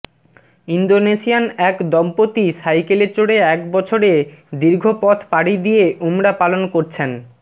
Indonesian এক দম্পতি সাইকেলে চড়ে এক বছরে দীর্ঘ পথ পাড়ি দিয়ে উমরা পালন করছেন